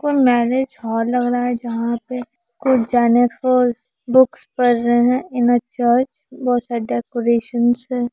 कोई marriage hall लग रहा है जहां पे कुछ जेनएफर्स बुक्स पढ़ रहे हैं इन अ चर्च बहुत सारे डेकरैशन हैं।